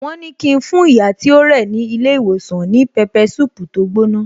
Wón ní ki n fún ìyá tí ó rẹ̀ ní ilé ìwòsàn ní pepper soup tó gbóná